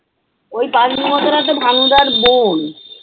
ওই পাগলী মতো ভানুদার বোন।